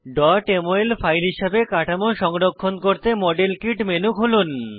mol file হিসাবে কাঠামো সংরক্ষণ করতে মডেল কিট মেনু খুলুন